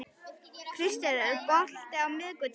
Kristel, er bolti á miðvikudaginn?